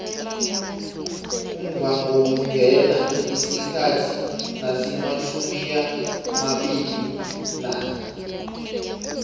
umvhangoungena isikhathi nasimatjhumiamabili nanye